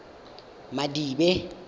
madibe